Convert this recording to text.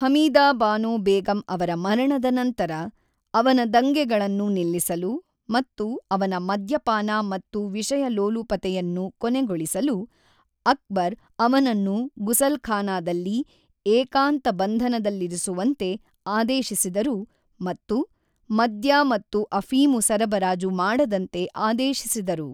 ಹಮೀದಾ ಬಾನೊ ಬೇಗಂ ಅವರ ಮರಣದ ನಂತರ, ಅವನ ದಂಗೆಗಳನ್ನು ನಿಲ್ಲಿಸಲು ಮತ್ತು ಅವನ ಮದ್ಯಪಾನ ಮತ್ತು ವಿಷಯಲೋಲುಪತೆಯನ್ನು ಕೊನೆಗೊಳಿಸಲು, ಅಕ್ಬರ್ ಅವನನ್ನು ಗುಸಲ್ಖಾನಾದಲ್ಲಿ ಏಕಾಂತ ಬಂಧನದಲ್ಲಿರಿಸುವಂತೆ ಆದೇಶಿಸಿದರು ಮತ್ತು ಮದ್ಯ ಮತ್ತು ಅಫೀಮು ಸರಬರಾಜು ಮಾಡದಂತೆ ಆದೇಶಿಸಿದರು.